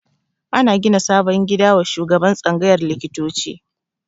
Ana gina sabon gida wa shugaban tsangayar likitoci